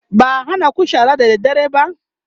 ba'a hanaku shara da dare ba?